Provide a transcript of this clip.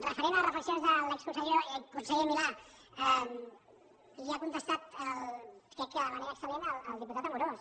referent a les reflexions de l’exconseller milà li ha contestat crec que de manera excel·lent el diputat amorós